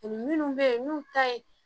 Minnu bɛ yen n'u ta ye